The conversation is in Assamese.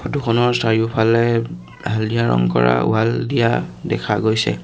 ফটো খনৰ চাৰিওফালে হালধীয়া ৰং কৰা ৱাল দিয়া দেখা গৈছে।